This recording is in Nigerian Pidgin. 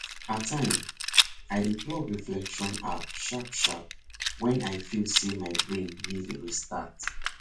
at time i dey plug reflection app sharpsharp when i feel say my brain need restart